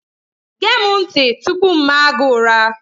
Gee m ntị tupu m maa gị ụra!